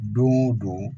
Don o don